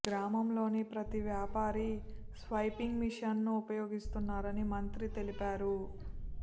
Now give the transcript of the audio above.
గ్రామంలోని ప్రతి వ్యాపారి స్వైపింగ్ మిషన్ ను ఉపయోగిస్తున్నారని మంత్రి తెలిపారు